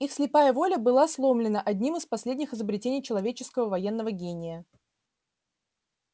их слепая воля была сломлена одним из последних изобретений человеческого военного гения